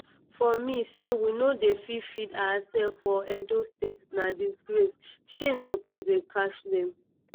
for me say we no dey fit feed oursefs for edo state na disgrace shame suppose dey catch dem.